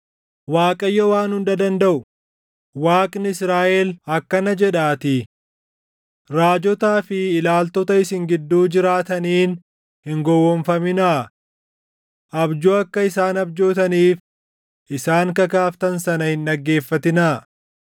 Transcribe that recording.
Waaqayyo Waan Hunda Dandaʼu, Waaqni Israaʼel akkana jedhaatii: “Raajotaa fi ilaaltota isin gidduu jiraataniin hin gowwoomfaminaa. Abjuu akka isaan abjootaniif isaan kakaaftan sana hin dhaggeeffatinaa.